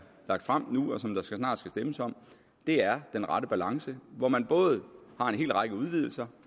lagt frem nu og som der snart skal stemmes om er den rette balance hvor man både har en hel række udvidelser